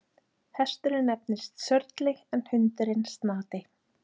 Hesturinn nefnist Sörli en hundurinn Snati.